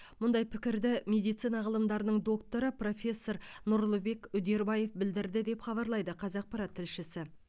мұндай пікірді медицина ғылымдарының докторы профессор нұрлыбек үдербаев білдірді деп хабарлайды қазақпарат тілшісі